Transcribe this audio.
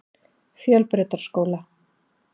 Fjölbrautaskóla